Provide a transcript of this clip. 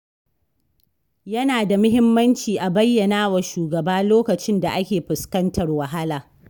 Yana da muhimmanci a bayyanawa shugaba lokacin da ake fuskantar wahala.